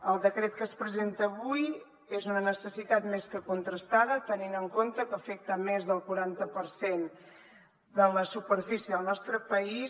el decret que es presenta avui és una necessitat més que contrastada tenint en compte que afecta més del quaranta per cent de la superfície del nostre país